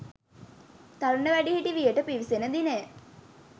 තරුණ වැඩිහිටි වියට පිවිසෙන දිනය